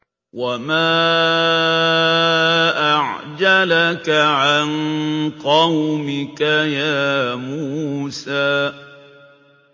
۞ وَمَا أَعْجَلَكَ عَن قَوْمِكَ يَا مُوسَىٰ